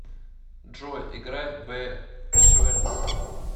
джой играй би свендсен